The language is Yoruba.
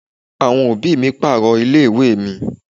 Àwọn òbí mi pààrọ̀ ilé ìwé mi.